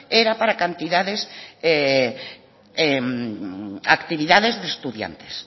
era para actividades de estudiantes